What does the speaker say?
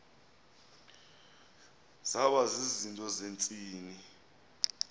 zaba zizinto zentsini